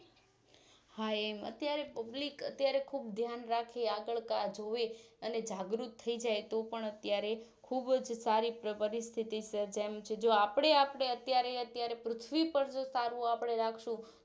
હા એમ અત્યારે Public અત્યારે ખુબ ધ્યાન રાખી આગળ કા જુવે અને જાગૃત થઈજાયતો પણ અત્યારે ખુબજ સારી પરિસ્થિતિસર્જાય એમ છે આપણે આપણે અત્યારે અત્યારે પૃથ્વીપર જો સારું આપણે રાખશું